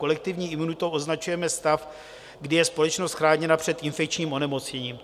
Kolektivní imunitou označujeme stav, kdy je společnost chráněna před infekčním onemocněním.